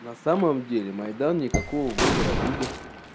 на самом деле майдан никакого выбора людям